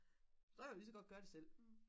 så kan jeg jo lige så godt gøre det selv